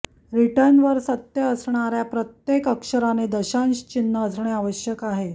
return वर सत्य असणार्या प्रत्येक अक्षराने दशांश चिन्ह असणे आवश्यक आहे